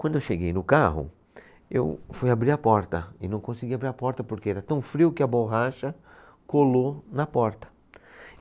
Quando eu cheguei no carro, eu fui abrir a porta e não consegui abrir a porta porque era tão frio que a borracha colou na porta.